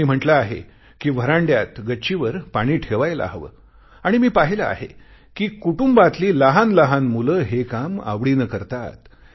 त्यांनी म्हटले आहे कि व्हरांड्यात गच्चीवर पाणी ठेवायला हवे आणि मी पाहिले आहे कि कुटुंबातली लहानलहान मुले हे काम आवडीने करतात